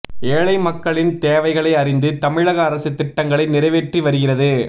ஏழை மக்களின் தேவைகளை அறிந்து தமிழக அரசு திட்டங்களை நிறைவேற்றி வருகிறது